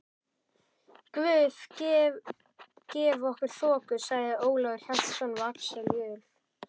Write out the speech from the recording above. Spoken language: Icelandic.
Guð gefi okkur þoku, sagði Ólafur Hjaltason við Axel Jul.